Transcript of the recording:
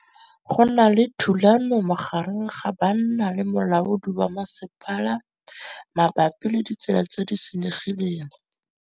Go na le thulanô magareng ga banna le molaodi wa masepala mabapi le ditsela tse di senyegileng.